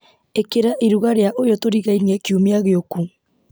ĩkĩra iruga rĩa ũyũ tũrigainie kiumia gĩũku